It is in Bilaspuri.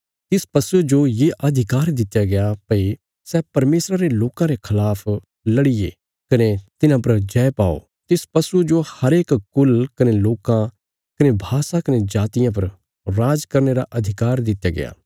तिस पशुये जो ये अधिकार दित्या गया भई सै परमेशरा रे लोकां रे खलाफ लड़िये कने तिन्हां पर जय पाओ तिस पशुये जो हरेक कुल़ कने लोकां कने भाषा कने जातिया पर राज करने रा अधिकार दित्या गया